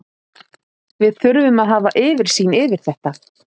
Við þurfum að hafa yfirsýn yfir þetta.